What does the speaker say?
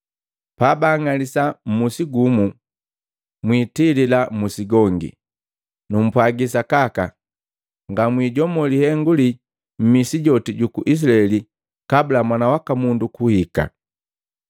Pabanng'alisa mmusi gumu, mwitilila mmusi gongi. Numpwagi sakaka, ngamwijomo lihengu lii mmisi joti juku Izilaeli kabula Mwana waka Mundu kuhika.